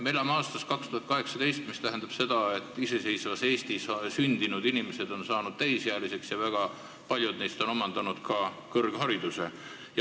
Me elame aastas 2018, mis tähendab seda, et iseseisvas Eestis sündinud inimesed on saanud täisealiseks ja väga paljud neist on omandanud ka kõrghariduse.